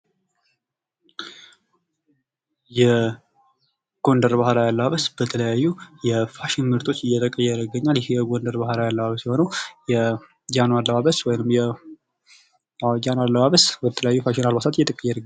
የጎንደር ባህላዊ አለባበስ የተለያዩ የፋሽን ምርቶች ይገኛል። ይሄ የጎንደር ባህላዊ አለባበስ የሆነው የጃኖ አለባበስ ወይም የጃኖ አለባበስ በተለያዩ ፋሽን አልባሳት እየተቀየረ ነው።